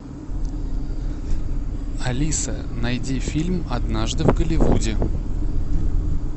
алиса найди фильм однажды в голливуде